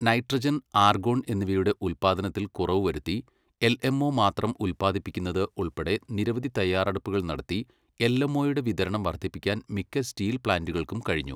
Nitrogen, argon എന്നിവയുടെ ഉൽപാദനത്തിൽ കുറവു വരുത്തി, എൽഎംഒ മാത്രം ഉൽപ്പാദിപ്പിക്കുന്നത് ഉൾപ്പടെ നിരവധി തയ്യാറെടുപ്പുകൾ നടത്തി എൽഎംഓയുടെ വിതരണം വർധിപ്പിക്കാൻ മിക്ക സ്റ്റീൽ പ്ലാന്റുകൾക്കും കഴിഞ്ഞു.